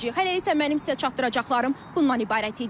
Hələlik isə mənim sizə çatdıracaqlarım bunlardır.